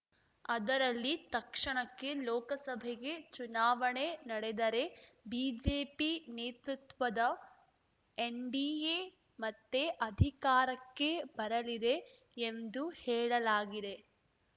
ಅದರಲ್ಲಿ ತಕ್ಷಣಕ್ಕೆ ಲೋಕಸಭೆಗೆ ಚುನಾವಣೆ ನಡೆದರೆ ಬಿಜೆಪಿ ನೇತೃತ್ವದ ಎನ್‌ಡಿಎ ಮತ್ತೆ ಅಧಿಕಾರಕ್ಕೆ ಬರಲಿದೆ ಎಂದು ಹೇಳಲಾಗಿದೆ